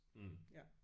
Mh